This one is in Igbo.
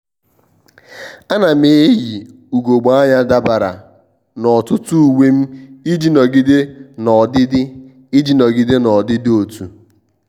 à nà m eyì ùgògbè ányá dabara na ọtụ́tụ́ uwe m iji nọgide n'ọdịdị iji nọgide n'ọdịdị otu